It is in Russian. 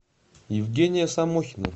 евгения самохина